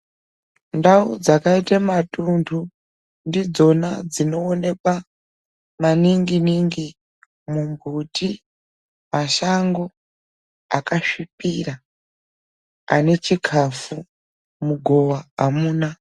Ndau dzakaite matuntu ndidzona dzinoonekwa maningi ningi mumbuti mashango akasvipira ane chikafu mugowa amuna.